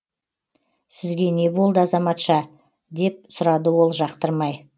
сізге не болды азаматша деп сұрады ол жақтырмай